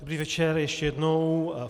Dobrý večer ještě jednou.